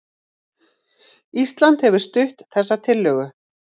Ísland hefur stutt þessa tillögu